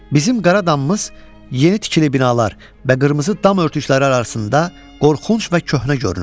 Bizim Qaradamımız yeni tikili binalar və qırmızı dam örtükləri arasında qorxunc və köhnə görünürdü.